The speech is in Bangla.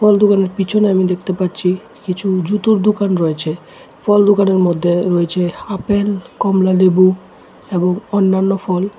ফল দোকানের পিছনে আমি দেখতে পাচ্ছি কিছু জুতোর দোকান রয়েছে ফল দোকানের মধ্যে রয়েছে আপেল কমলালেবু এবং অন্যান্য ফল।